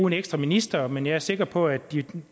en ekstra minister men jeg er sikker på at de